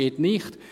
geht nicht».